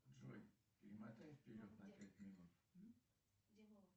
джой перемотай вперед на пять минут